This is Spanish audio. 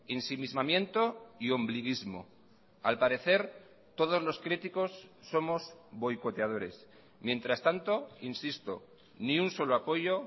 ensimismamiento y ombliguismo al parecer todos los críticos somos boicoteadores mientras tanto insisto ni un solo apoyo